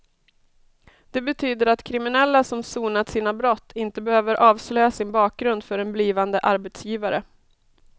Det betyder att kriminella som sonat sina brott inte behöver avslöja sin bakgrund för en blivande arbetsgivare.